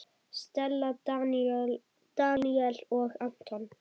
Stella, Daníel og Anton.